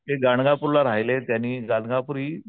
ते गाणगापूरला राहिले त्यांनी गाणगापुरी